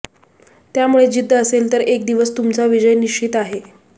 त्यामुळे जिद्द असेल तर एक दिवस तुमचा विजय निश्चित आहे